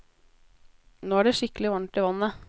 Nå er det skikkelig varmt i vannet.